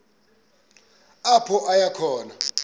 apho aya khona